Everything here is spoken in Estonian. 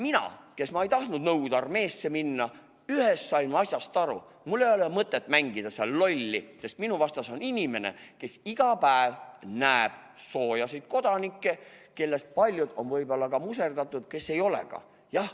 Mina, kes ma ei tahtnud Nõukogude armeesse minna, sain seal ühest asjast aru: mul ei ole mõtet hullumajas lolli mängida, sest minu vastas on inimene, kes iga päev näeb peast sooje kodanikke, kellest paljud on võib-olla muserdatud, aga paljud ei ole ka.